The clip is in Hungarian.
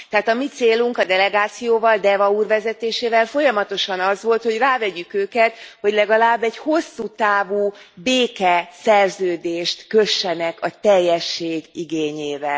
Tehát a mi célunk a delegációval Deva úr vezetésével folyamatosan az volt, hogy rávegyük őket, hogy legalább egy hosszú távú békeszerződést kössenek, a teljesség igényével.